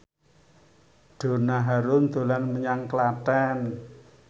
Donna Harun dolan menyang Klaten